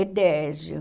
Edésio.